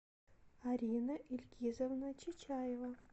арина ильгизовна чичаева